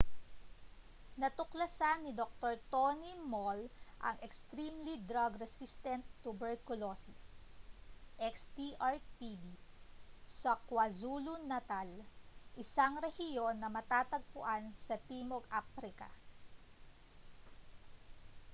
natuklasan ni dr. tony moll ang extremely drug resistant tuberculosis xdr-tb sa kwazulu-natal isang rehiyon na matatagpuan sa timog aprika